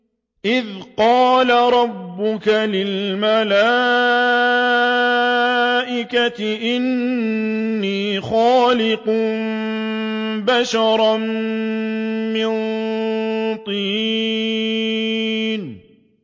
إِذْ قَالَ رَبُّكَ لِلْمَلَائِكَةِ إِنِّي خَالِقٌ بَشَرًا مِّن طِينٍ